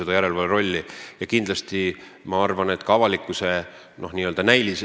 Ma arvan, et asi peaks ka näima õiglane.